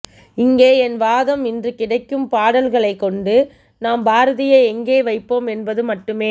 இங்கே என் வாதம் இன்று கிடைக்கும்பாடல்களைக் கொண்டு நாம் பாரதியை எங்கே வைப்போம் என்பது மட்டுமே